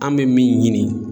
An bɛ min ɲini.